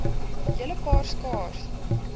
hele paar skaars